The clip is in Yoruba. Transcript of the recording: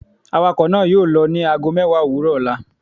Awakọ naa yoo lọ ni aago mẹwa owurọ ọla